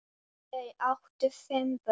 Þau áttu fimm börn.